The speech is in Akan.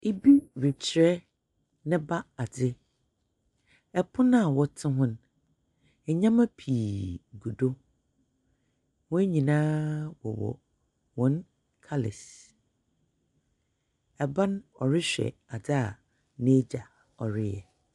Obi rekyerɛ ne ba ade. Ɛpono a wɔte ho no, nneɛma pii gu do. Wɔn nyinaa wɔwɔ wɔn kalɛs. Aban ɔrehwɛ ade a n'agya ɔreyɛ.